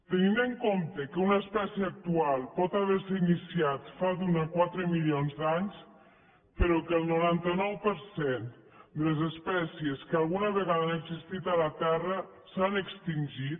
tenint en compte que una espècie actual pot haver se iniciat fa d’un a quatre milions d’anys però que el noranta nou per cent de les espècies que alguna vegada han existit a la terra s’han extingit